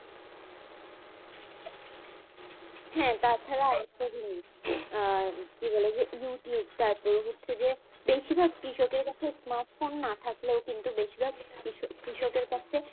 হ্যাঁ তাছাড়া আরেকটা জিনিস কি বলে youtube তারপরে হচ্ছে যে বেশিভাগ কৃষকের কাছে smart phone না থাকলেও কিন্তু বেশিভাগ কৃষকের কাছে